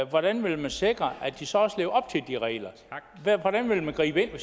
hvordan vil man sikre at de så også lever op til de regler hvordan vil man gribe